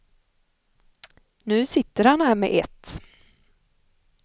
Nu sitter han här med ett.